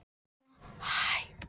Ég tel það ekkert eftir mér.